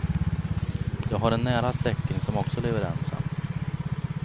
Jag har en nära släkting som också lever ensam.